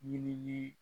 Ɲinili